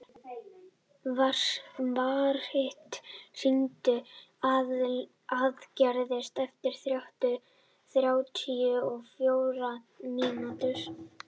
Marit, hringdu í Aðalgeir eftir þrjátíu og fjórar mínútur.